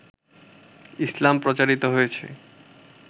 ইসলাম প্রচারিত হয়েছে